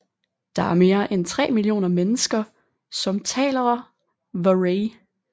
Der er mere end 3 millioner mennesker som talerer Waray